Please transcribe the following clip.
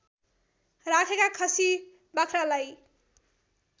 राखेका खसि बाख्रालाई